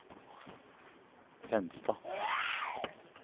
Fenstad